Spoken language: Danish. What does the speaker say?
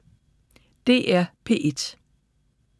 DR P1